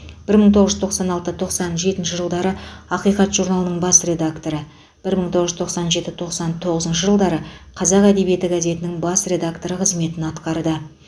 бір мың тоғыз жүз тоқсан алты тоқсан жетінші жылдары ақиқат журналының бас редакторы бір мың тоғыз жүз тоқсан жеті тоқсан тоғызыншы жылдары қазақ әдебиеті газетінің бас редакторы қызметін атқарды